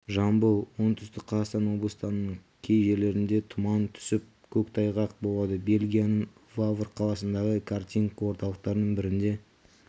жамбыл оңтүстік қазақстан облыстарының кей жерлерінде тұман түсіп көктайғақ болады бельгияның вавр қаласындағы картинг орталықтарының бірінде